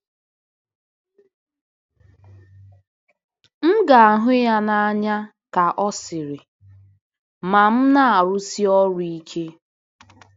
M ga-ahụ ya n'anya, ka ọ sịrị, "ma m na-arụsi ọrụ ike."